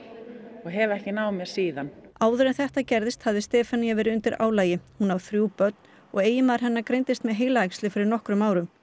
og hef ekki náð mér síðan áður en þetta gerðist hafði Stefanía verið undir álagi hún á þrjú börn og eiginmaður hennar greindist með heilaæxli fyrir nokkrum árum